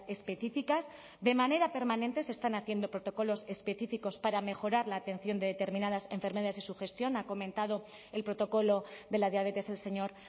específicas de manera permanente se están haciendo protocolos específicos para mejorar la atención de determinadas enfermedades y su gestión ha comentado el protocolo de la diabetes el señor